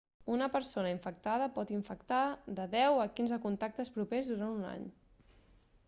una persona infectada pot infectar de 10 a 15 contactes propers durant un any